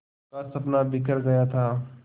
का सपना बिखर गया था